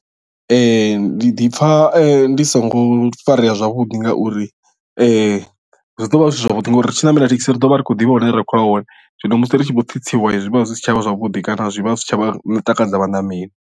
Ndi ḓipfa ndi songo farea zwavhuḓi ngauri zwi ḓo vha zwi si zwavhuḓi ngauri ri tshi ṋamela thekhisi ri ḓo vha ri khou ḓivha hune ra khou ya hone zwino musi ri tshi vho tsitsiwa zwi vha zwi si tshavha zwavhuḓi kana zwi vha zwi si tsha takadza vhaṋameli.